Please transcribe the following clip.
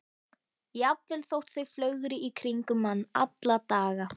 Jafnvel þótt þau flögri í kringum mann alla daga.